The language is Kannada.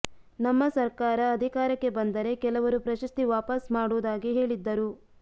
ನಮ್ಮ ಸರ್ಕಾರ ಅಧಿಕಾರಕ್ಕೆ ಬಂದರೆ ಕೆಲವರು ಪ್ರಶಸ್ತಿ ವಾಪಸ್ ಮಾಡುವುದಾಗಿ ಹೇಳಿದ್ದರು